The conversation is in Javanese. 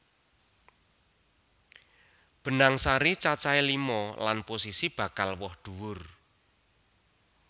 Benang sari cacahé lima lan posisi bakal woh dhuwur